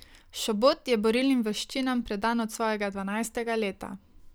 Šobot je borilnim veščinam predan od svojega dvanajstega leta.